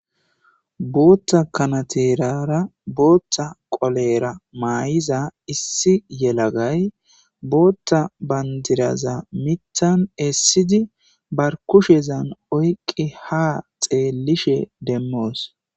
Bootha kanaterara bootha qolera mayiza issi yelagay bootha bandiraza miththa bolla essidi ba kushen oyqidi ha xeelishin demoos.